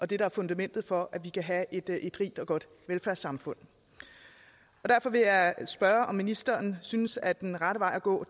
det der er fundamentet for at vi kan have et rigt og godt velfærdssamfund og derfor vil jeg spørge om ministeren synes at den rette vej at gå